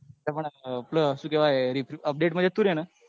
પણ આપડે શું કેવા update માં જતું રે ને.